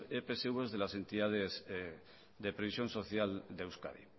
epsv de las entidades de previsión social de euskadi